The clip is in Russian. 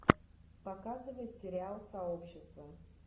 показывай сериал сообщество